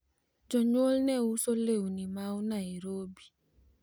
jonyuol ne uso lewni mao Nairobi